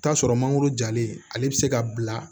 Taa sɔrɔ mangoro jalen ale bɛ se ka bila